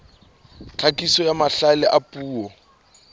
tlhakiso ya mahlale a puo